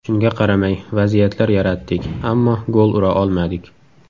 Shunga qaramay vaziyatlar yaratdik, ammo gol ura olmadik.